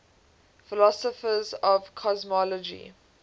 philosophers of cosmology